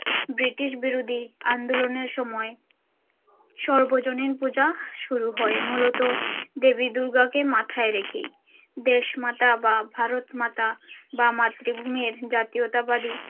british বিরোধী আন্দোলনের সময় সর্বজনীন পূজা শুরু হয় মূলত দেবী দূর্গাকে মাথায় রেখেই দেশমাতা বা ভারতমাতা বা মাতৃভূমির জাতীয়তাবাদী।